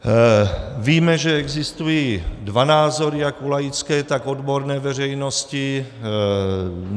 Víme, že existují dva názory jak u laické, tak odborné veřejnosti.